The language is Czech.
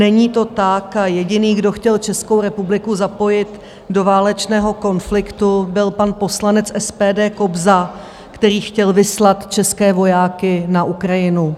Není to tak a jediný, kdo chtěl Českou republiku zapojit do válečného konfliktu, byl pan poslanec SPD Kobza, který chtěl vyslat české vojáky na Ukrajinu.